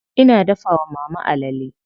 Ina dafa wa mama alale.